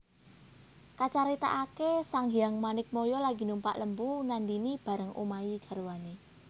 Kacaritaaké Sanghyang Manikmaya lagi numpak Lembu Nandhini bareng Umayi garwané